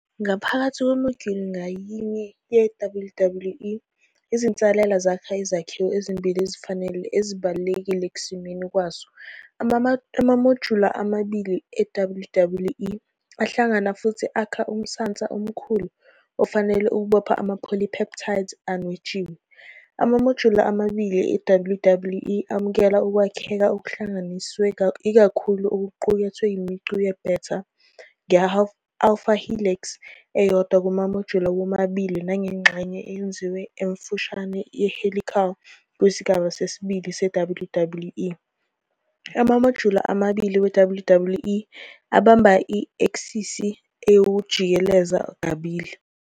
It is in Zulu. Ngaphakathi kwemodyuli ngayinye ye-WWE, izinsalela zakha izakhiwo ezimbili ezifanayo ezibalulekile ekusimeni kwaso. Amamojula amabili e-WWE ahlangana futhi akha umsantsa omkhulu ofanele ukubopha ama-polypeptides anwetshiwe. Amamojula amabili e-WWE amukela ukwakheka okuhlanganisiwe ikakhulu okuqukethe imicu ye-beta, nge- alpha helix eyodwa kumamojula womabili nangengxenye eyengeziwe emfushane ye-helical kusigaba sesibili seWWE. Amamojula amabili we-WWE abamba i- eksisi yokujikeleza kabili.